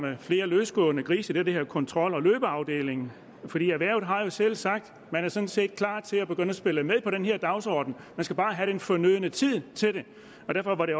flere løsgående grise i det kontrolafdelingen erhvervet har selv sagt at man sådan set er klar til at begynde at spille med på den her dagsorden man skal bare have den fornødne tid til det og derfor var det